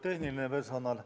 Auväärt tehniline personal!